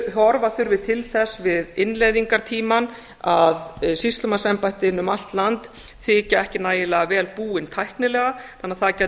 horfa þurfi til þess við innleiðingartímann að sýslumannsembættin um allt land þykja ekki nægilega vel búin tæknilega þannig að það gæti